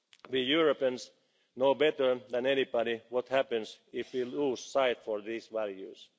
the world. We Europeans know better than anybody what happens if we lose sight of these